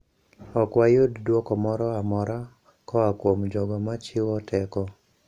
Ok wayud dwoko moro amora koa kuom jogo machiwo teko.